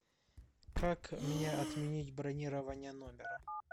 как мне отменить бронирование номера